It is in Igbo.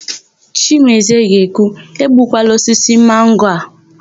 Chimezie ga-ekwu, "egbukwala osisi mango a"!